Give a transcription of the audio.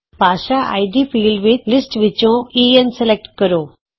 ਭਾਸ਼ਾ ID field ਵਿਚ list ਵਿਚੋਂ ਈਐਨ ਸਲੈਕਟ ਕਰੋ